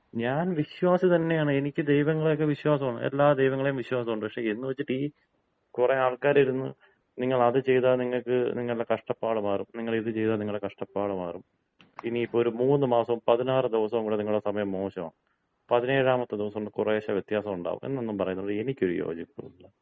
ഞാൻ വിശ്വാസി തന്നെയാണ്. എനിക്ക് ദൈവങ്ങളെയൊക്കെ വിശ്വാസാണ് . എല്ലാ ദൈവങ്ങളെയും വിശ്വാസൊണ്ട്. എന്നു വെച്ചിട്ട് ഈ കുറെ ആൾക്കാരിരുന്ന് നിങ്ങളത് ചെയ്താ നിങ്ങൾക്ക് നിങ്ങളുടെ കഷ്ടപ്പാട് മാറും, നിങ്ങളിത് ചെയ്താ നിങ്ങളുടെ കഷ്ടപ്പാട് മാറും. ഇനിയിപ്പോ ഒരു മൂന്നുമാസവും പതിനാറ് ദിവസവും കൂട നിങ്ങടെ സമയം മോശമാണ്. പതിനേഴാമത്തെ ദിവസം കുറേശ്ശെ വ്യത്യാസൊണ്ടാകും, എന്നൊന്നും പറയുന്നത് എനിക്ക് ഒരു യോജിപ്പുമില്ല.